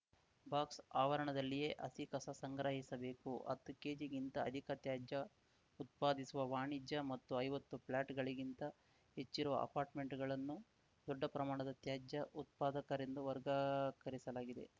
ಬಾಕ್ಸ‌ಆವರಣದಲ್ಲಿಯೇ ಹಸಿ ಕಸ ಸಂಗ್ರಹಿಸಬೇಕು ಹತ್ತು ಕೆಜಿ ಗಿಂತ ಅಧಿಕ ತ್ಯಾಜ್ಯ ಉತ್ಪಾದಿಸುವ ವಾಣಿಜ್ಯ ಮತ್ತು ಐವತ್ತು ಫ್ಲ್ಯಾಟ್‌ಗಳಿಗಿಂತ ಹೆಚ್ಚಿರುವ ಅಪಾರ್ಟ್‌ಮೆಂಟ್‌ಗಳನ್ನು ದೊಡ್ಡ ಪ್ರಮಾಣದ ತ್ಯಾಜ್ಯ ಉತ್ಪಾದಕರೆಂದು ವರ್ಗಕರಿಸಲಾಗಿದೆ